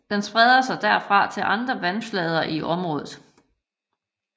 Den spreder sig herfra til andre vandflader i området